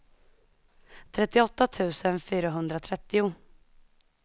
trettioåtta tusen fyrahundratrettio